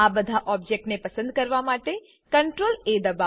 બધા ઓબ્જેક્ટને પસંદ કરવા માટે CTRLA દબાઓ